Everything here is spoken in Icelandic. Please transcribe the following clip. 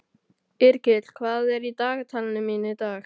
Yrkill, hvað er í dagatalinu mínu í dag?